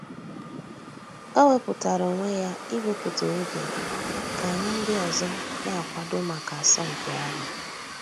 Ọ̀ wépụ̀tárà ònwè yà íwèpụ̀tà ògè kà ànyị̀ ńdí òzò nà-àkwàdò mǎká àsọ̀mpị̀ àhụ̀.